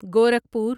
Gorakhpur